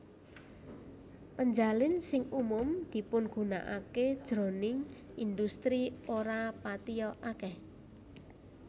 Penjalin sing umum dipigunakaké jroning indhustri ora patiya akèh